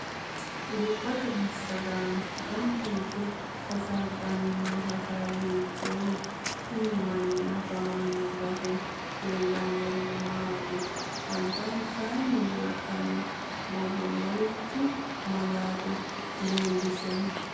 Gobbatte masagaano ganbba yite hasaabani noo hasaawi hiitooho kuni manni afamano base leelishanori maati albansaani leeltano borro marichi malaate leelishanno